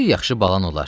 Bir yaxşı balan olar.